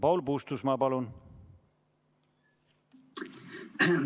Paul Puustusmaa, palun!